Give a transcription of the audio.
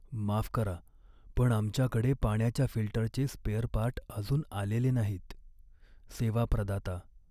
माफ करा पण आमच्याकडे पाण्याच्या फिल्टरचे स्पेअरपार्ट अजून आलेले नाहीत. सेवा प्रदाता.